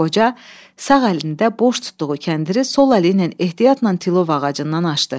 Qoca sağ əlində boş tutduğu kəndiri sol əli ilə ehtiyatla tilov ağacından aşdı.